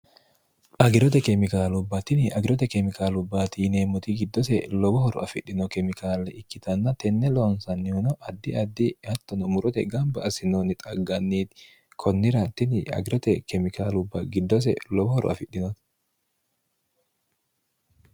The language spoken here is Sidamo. agirote kemikaalubbatini agirote kemikaalubbaati yineemmoti giddose lobohoro afidhino kemikaale ikkitanna tenne loonsannihuno addi addi hattono murote gamba assinoonni xagganniiti kunnira tini agirote kemikaalubba giddose lowohoro afidhino